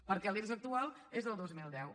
perquè l’irs actual és del dos mil deu